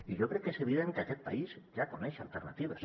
i jo crec que és evident que aquest país ja coneix alternatives